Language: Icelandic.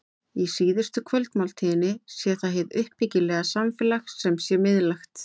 Í síðustu kvöldmáltíðinni sé það hið uppbyggilega samfélag sem sé miðlægt.